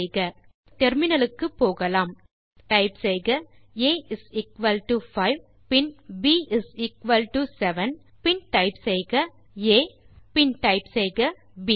solution க்கு terminal க்கு போகலாம் டைப் செய்க ஆ இஸ் எக்குவல் டோ 5 பின் ப் இஸ் எக்குவல் டோ 7 பின் டைப் செய்க ஆ மற்றும் பின் டைப் செய்க ப்